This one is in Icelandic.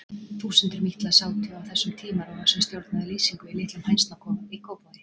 Þúsundir mítla sátu á þessum tímarofa sem stjórnaði lýsingu í litlum hænsnakofa í Kópavogi.